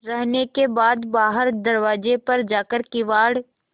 रहने के बाद बाहर दरवाजे पर जाकर किवाड़